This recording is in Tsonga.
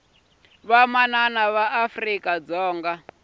vamanana va afrika dzonga